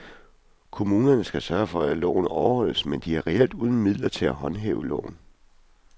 Kommunerne skal sørge for at loven overholdes, men de er reelt uden midler til at håndhæve loven.